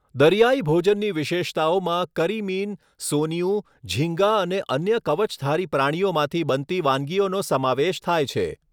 દરિયાઈ ભોજનની વિશેષતાઓમાં કરીમીન, સોનિયું, ઝીંગા અને અન્ય કવચધારી પ્રાણીઓમાંથી બનતી વાનગીઓનો સમાવેશ થાય છે.